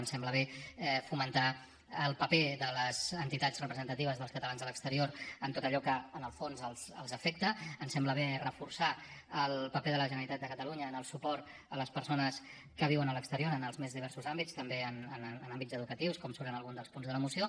ens sembla bé fomentar el paper de les entitats representatives dels catalans a l’exterior en tot allò que en el fons els afecta ens sembla bé reforçar el paper de la generalitat de catalunya en el suport a les persones que viuen a l’exterior en els més diversos àmbits també en àmbits educatius com surt en algun dels punts de la moció